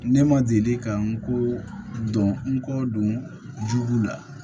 Ne ma deli ka n ko dɔn n ko don la